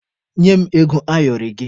Nye m ego ayọrị gị!